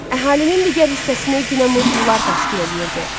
Əhalinin digər hissəsinə günəmuzlular təşkil eləyirdi.